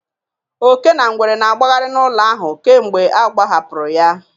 Oke na ngwere na-agbagharị n'ụlọ ahụ kemgbe ọ agbahapụrụ ya.